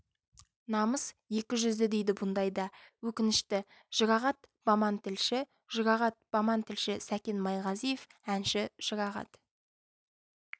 намыс екі жүзді дейді бұндайда өкінішті жұрағат баман тілші жұрағат баман тілші сәкен майғазиев әнші жұрағат